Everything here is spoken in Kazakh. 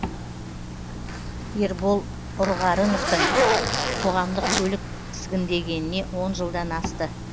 ербол ұрғарыновтың қоғамдық көлік тізгіндегеніне он жылдан асты